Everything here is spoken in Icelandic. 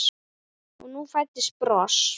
Og nú fæddist bros.